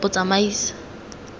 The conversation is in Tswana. botsamaisi